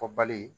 Fɔ bali